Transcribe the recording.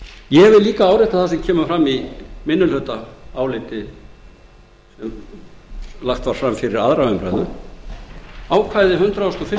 ég vil líka árétta það sem kemur fram í minnihlutaálitinu sem lagt var fram við aðra umræðu að ákvæði hundrað